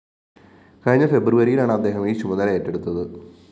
കഴിഞ്ഞ ഫെബ്രുവരിയിലാണ് അദ്ദേഹം ഈ ചുമതല ഏറ്റെടുത്തത്